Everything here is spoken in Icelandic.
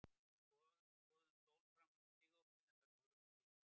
Við skorðuðum stól framan við stigaopið en það dugði ekki neitt.